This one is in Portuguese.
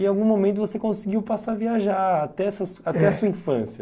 E em algum momento você conseguiu passar a viajar até a sua infância. É.